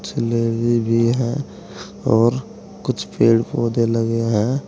और कुछ पेड़ पौधे लगे हैं।